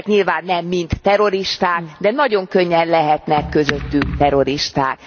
Ezek nyilván nem mind terroristák, de nagyon könnyen lehetnek közöttük terroristák.